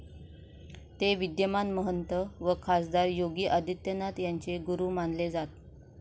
ते विद्यमान महंत व खासदार योगी आदित्यनाथ यांचे गुरु मानले जात.